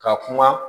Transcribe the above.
Ka kuma